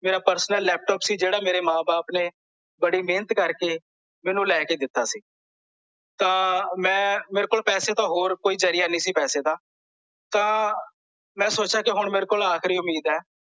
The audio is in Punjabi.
ਮੇਰਾ personal ਲੈਪਟਾਪ ਸੀ ਜਿਹੜਾ ਮੇਰੇ ਮਾਂ ਬਾਪ ਨੇ ਬੜੀ ਮਹਿਨਤ ਕਰਕੇ ਮੈਨੂੰ ਲੈ ਕੇ ਦਿੱਤਾ ਸੀ ਤਾਂ ਮੈਂ ਮੇਰੇ ਕੋਲ ਪੈਸੇ ਦਾ ਹੋਰ ਕੋਈ ਜ਼ਰੀਆ ਨਹੀਂ ਸੀ ਪੈਸੇ ਦਾ ਤਾਂ ਮੈਂ ਸੋਚਿਆ ਕੀ ਹੁਣ ਮੇਰੇ ਕੋਲ ਆਖਰੀ ਉਮੀਦ ਐ